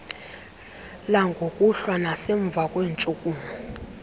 langokuhlwa nasemva kweentshukumo